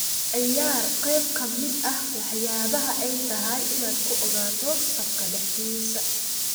ciyaar qayb ka mid ah waxyaabaha ay tahay inaad ku ogaato safka dhexdiisa